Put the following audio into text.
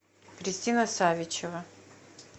кристина савичева